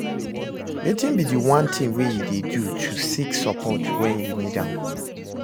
Wetin be di one thing wey you dey do to seek support when you need am?